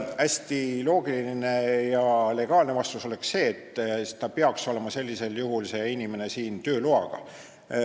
Hästi loogiline ja seadust järgiv vastus oleks, et see inimene peaks siin olema tööloa saanud.